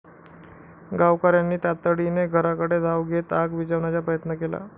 गावकऱ्यांनी तातडीने घराकडे धाव घेत आग विझविण्याचा प्रयत्न केला.